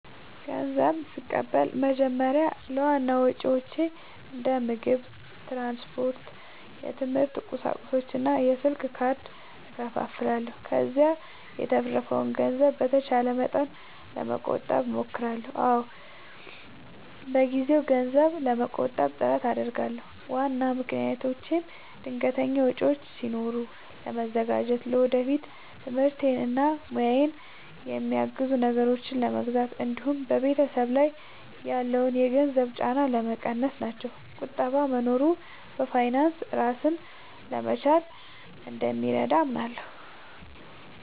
ንዘብ ስቀበል በመጀመሪያ ለዋና ወጪዎቼ እንደ ምግብ፣ ትራንስፖርት፣ የትምህርት ቁሳቁሶች እና የስልክ ካርድ እከፋፍለዋለሁ። ከዚያ የተረፈውን ገንዘብ በተቻለ መጠን ለመቆጠብ እሞክራለሁ። አዎ፣ በየጊዜው ገንዘብ ለመቆጠብ ጥረት አደርጋለሁ። ዋና ምክንያቶቼም ድንገተኛ ወጪዎች ሲኖሩ ለመዘጋጀት፣ ለወደፊት ትምህርቴን እና ሙያዬን የሚያግዙ ነገሮችን ለመግዛት እንዲሁም በቤተሰብ ላይ ያለውን የገንዘብ ጫና ለመቀነስ ናቸው። ቁጠባ መኖሩ በፋይናንስ ራስን ለመቻል እንደሚረዳ አምናለሁ።